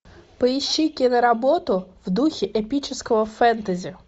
поищи киноработу в духе эпического фэнтези